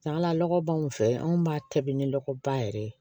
Ala lɔgɔ b'anw fɛ anw b'a tabi ni lɔgɔba yɛrɛ ye